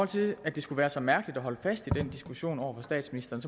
til at det skulle være så mærkeligt at holde fast i den diskussion over for statsministeren